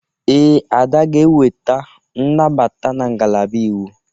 Ee, Ada ga-enweta nnabata na ngalaba Iwu.